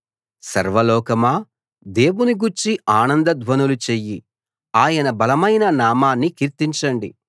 సర్వలోకమా దేవుని గూర్చి ఆనంద ధ్వనులు చెయ్యి ఆయన బలమైన నామాన్ని కీర్తించండి